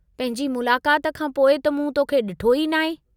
पंहिंजी मुलाकात खां पोइ त मूं तोखे ॾिठो ई न आहे।